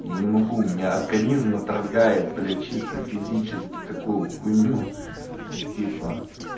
я не могу у меня организм отторгает блять чисто физически такую хуйню типа